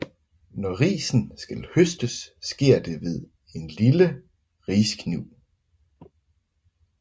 Når risen skal høstes sker det med en lille riskniv